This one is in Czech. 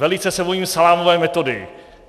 Velice se bojím salámové metody.